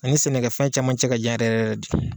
Ani sɛnɛkɛ fɛn caman cɛ ka jan yɛrɛ yɛrɛ de.